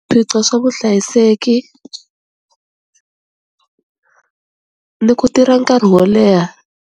swa vuhlayiseki ni ku tirha nkarhi wo leha.